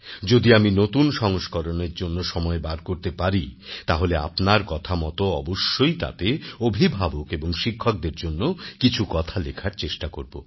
যদি আমি নতুন সংস্করণের জন্য সময় বার করতে পারি তাহলে আপনার কথা মত অবশ্যই তাতে অভিভাবক এবং শিক্ষকদের জন্য কিছু কথা লেখার চেষ্টা করব